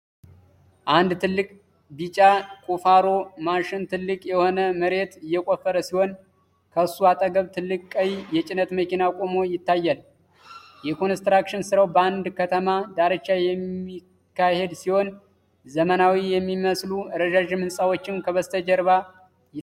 አንድ ትልቅ ቢጫ ቁፋሮ (Excavator) ማሽን ጥልቅ የሆነ መሬት እየቆፈረ ሲሆን፣ ከሱ አጠገብ ትልቅ ቀይ የጭነት መኪና ቆሞ ይታያል። የኮንስትራክሽን ሥራው በአንድ ከተማ ዳርቻ የሚካሄድ ሲሆን፣ ዘመናዊ የሚመስሉ ረዣዥም ህንፃዎችም ከበስተጀርባ ይታያሉ